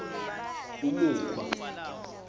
umukhwa